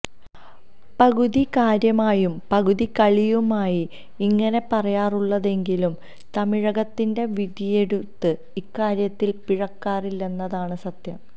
പകുതി കാര്യമായും പകുതി കളിയായുമാണ് ഇങ്ങനെ പറയാറുള്ളതെങ്കിലും തമിഴകത്തിന്റെ വിധിയെഴുത്ത് ഇക്കാര്യത്തില് പിഴക്കാറില്ലെന്നതാണ് സത്യം